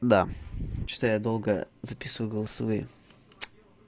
да что то я долго записываю голосовые